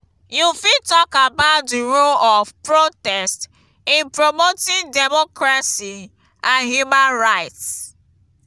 you fit talk about di role of protest in promoting democracy and human rights.